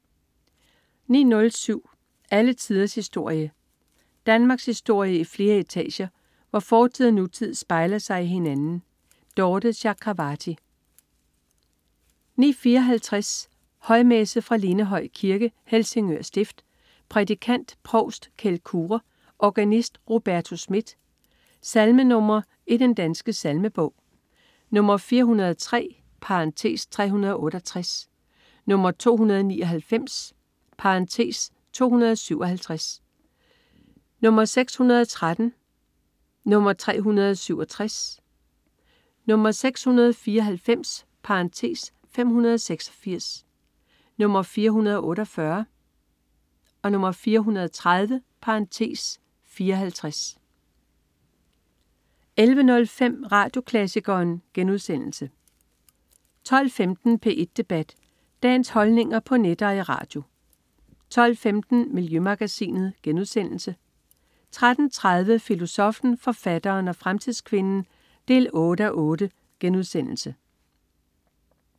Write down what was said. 09.07 Alle tiders historie. Danmarkshistorie i flere etager, hvor fortid og nutid spejler sig i hinanden. Dorthe Chakravarty 09.54 Højmesse. Fra Lindehøj Kirke, Helsingør stift. Prædikant: Provst Kjeld Kure. Organist: Roberto Schmidt. Salmenr. i Den Danske Salmebog: 403 (368), 299 (257), 613, 367, 694 (586), 448, 430 (54) 11.05 Radioklassikeren* 12.15 P1 Debat. Dagens holdninger på net og i radio 12.45 Miljømagasinet* 13.30 Filosoffen, forfatteren og fremtidskvinden 8:8*